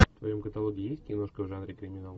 в твоем каталоге есть киношка в жанре криминал